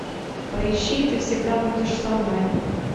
поищи ты всегда будешь со мной